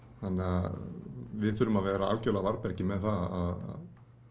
þannig við þurfum að vera algjörlega á varðbergi með það að